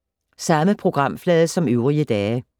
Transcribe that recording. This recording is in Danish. Samme programflade som øvrige dage